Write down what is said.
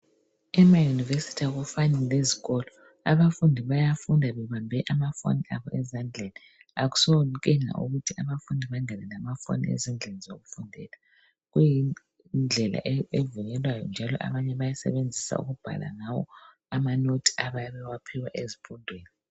Emayunivesithi akufani lezikolo abafundi bayakufunda bebambe amafoni abo ezandleni akusonkinga ukuthi abafundi bangene lamafoni ezindlini yokufundela kuyindlela evunyelwayo njalo abanye bayasebenzisa ukubhala ngawo amanothi abayabe bewaphiwe ezifundweni.